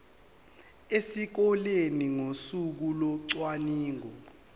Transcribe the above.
esikoleni ngosuku locwaningo